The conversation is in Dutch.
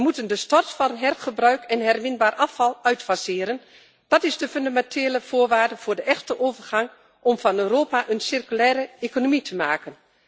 We moeten de stort van herbruikbaar en herwinbaar afval uitfaseren. Dat is de fundamentele voorwaarde voor de echte overgang om van Europa een circulaire economie te maken.